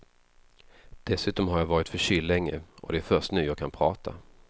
Dessutom har jag varit förkyld länge och det är först nu jag kan prata.